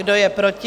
Kdo je proti?